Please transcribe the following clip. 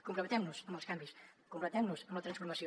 comprometem nos amb els canvis comprometem nos amb la transformació